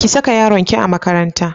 Ki saka yaronki a makaranta.